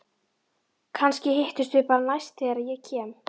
Kannski hittumst við bara næst þegar ég kem.